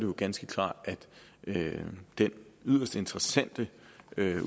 jo ganske klart at den yderst interessante